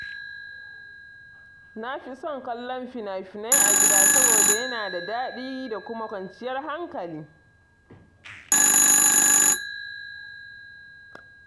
Na fi son kallon fina-finai a gida saboda yana da daɗi da kuma kwanciyar hankali.